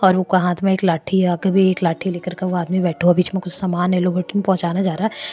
और उका हाथ में एक लाठी है आग भी एक लाठी दिख रखा एक आदमी बैठो बिच में कुछ सामान है लोग अठिन पहुचान ज़रा है।